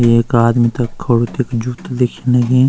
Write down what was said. एक आदमी त खडू दिखेणु च दिखेंण ही।